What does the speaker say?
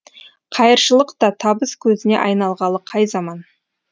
қайыршылық та табыс көзіне айналғалы қай заман